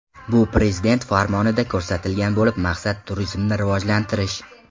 Bu prezident farmonida ko‘rsatilgan bo‘lib, maqsad turizmni rivojlantirish.